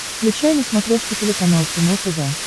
включай на смотрешке телеканал кино тв